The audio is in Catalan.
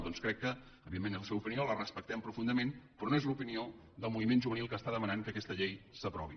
doncs crec que evidentment és la seva opinió la respectem profundament però no és l’opinió del moviment juvenil que està demanant que aquesta llei s’aprovi